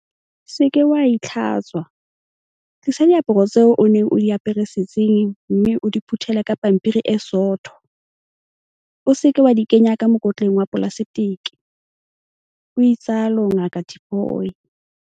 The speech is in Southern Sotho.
"Se ke wa itlhatswa, tlisa diaparo tseo o neng o di apere setsing mme o di phuthele ka pampiri e sootho, o se ke wa di kenya ka mokotleng wa polaseteke," o itsalo Ngaka Tipoy.